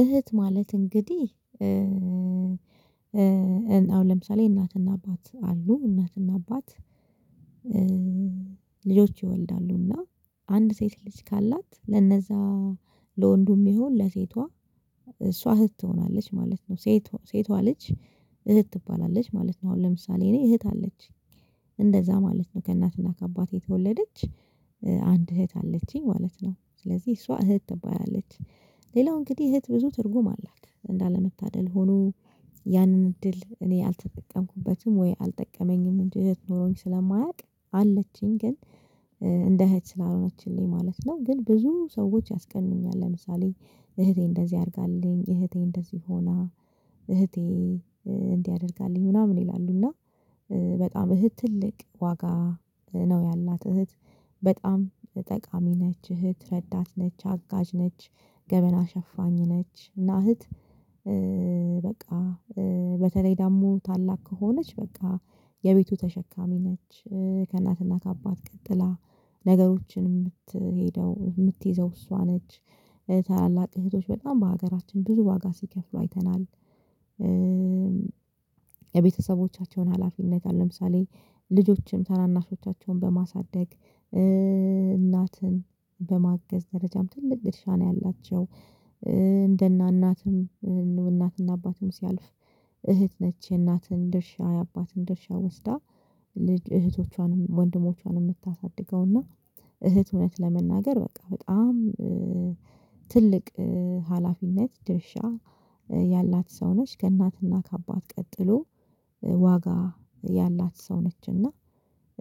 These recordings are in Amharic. እህት ማለት እንግዲህ አሁን ለምሳሌ እናትና አባት አሉ። እናትና አባት ልጆች ይወልዳሉ እና አንድ ሴት ልጅ ካላት ለነዛ ለወንዱም ይሁን ለሴቷ እሷ እህት ትሆናለች ማለት ነው። ሴት ሴቷ ልጅ እህት ትባላለች ማለት ነው። አሁን ለምሳሌ እኔ እህት አለችኝ። እንደዛ ማለት ነው ከእናትና ከአባቴ የተወለደች አንድ እህት አለቺኝ ማለት ነው። ስለዚህ እሷ እህት ትባላለች። ሌላው እንግዲህ እህት ብዙ ትርጉም አላት። እንዳለመታደል ሆኖ ያንን እድል እኔ አልተጠቀምኩበትም ወይ አልጠቀመኝም እህት ኖሮኝ ስለማያውቅ አለችኝ ግን እንደ እህት ስላልሆነችልኝ ማለት ነው፤ ግን ብዙ ሰዎች ያስቀኑኛል ለምሳሌ እህቴ እንደዚህ አድርጋልኝ፣ እህቴ እንደዚህ ሆና፣ እህቴ እንዲ አድርጋልኝ ምናምን ይላሉ፤ እና በጣም እህት ትልቅ ዋጋ ነው ያላት እህት በጣም ጠቃሚ ነች፣ እህት ረዳት ነች፣ አጋዥ ነች፣ ገመና ሸፋኝ ነች እና እህት በቃ በተለይ ደግሞ ታላቅ ከሆነች በቃ የቤቱ ተሸካሚ ነች። ከእናትና ከአባት ቀጥላ ነገሮችን የምትሄደው የምትይዘው እሷ ነች። ታላላቅ እህቶች በጣም በሀገራችን ብዙ ዋጋ ሲከፍሉ አይተናል። የቤተሰቦቻቸውን ሀላፊነት አሁን ለምሳሌ ልጆችን ታናናሾቻቸውን በማሳደግ፣ እናትን በማገዝ ደረጃም ትልቅ ድርሻ ነው ያላቸው። እንደ ና እናትም እናትና አባትም ሲያልፍ እህት ነች የናትን ድርሻ የአባትን ድርሻ ወስዳ ልጅ እህቶቿንም ወንድሞቿንም የምታሳድገውና እህት እውነት ለመናገር በቃ በጣም ትልቅ ሀላፊነት ድርሻ ያላት ሰው ነች ከእናትና ከአባት ቀጥሎ ዋጋ ያላት ሰው ነችና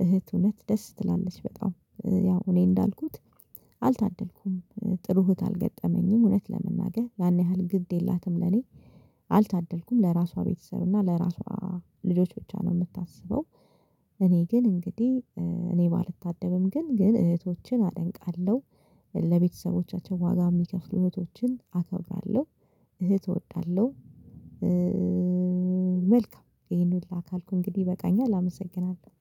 እህት እውነት ደስ ትላለች በጣም ያው እኔ እንዳልኩት አልታደልኩም ጥሩ እህት አልገጠመኝም። እውነት ለመናገር ያን ያህል ግድ የላትም ለኔ። አልታደልኩም ለራሷ ቤተሰብ እና ለራሷ ልጆች ብቻ ነው የምታስበው። እኔ ግን እንግዲህ እኔ ባልታደልም ግን ግን እህቶችን አደንቃለሁ። ለቤተሰቦቻቸው ዋጋ የሚከፍሉ እህቶችን አከብራለሁ። እህት እወዳለሁ። መልካም ይሄን ሁላ ካልኩ እንግዲህ ይበቃኛል አመሰግናለሁ።